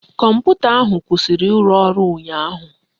Kọmputa ahụ kwụsịrị ịrụ ọrụ ụnyaahụ